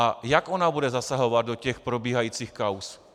A jak ona bude zasahovat do těch probíhajících kauz?